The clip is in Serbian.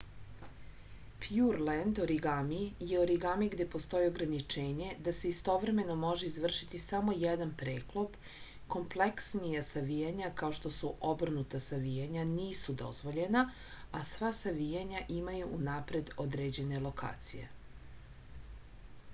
pjurlend origami je origami gde postoji ograničenje da se istovremeno može izvršiti samo jedan preklop kompleksnija savijanja kao što su obrnuta savijanja nisu dozvoljena a sva savijanja imaju unapred određene lokacije